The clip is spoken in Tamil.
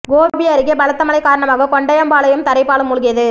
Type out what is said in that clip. கோபி அருகே பலத்த மழை காரணமாக கொண்டையம்பாளையம் தரைப்பாலம் மூழ்கியது